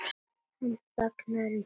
Hann þagnar um stund.